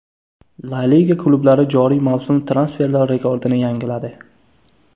La Liga klublari joriy mavsum transferlar rekordini yangiladi.